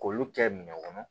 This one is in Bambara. K'olu kɛ minɛn kɔnɔ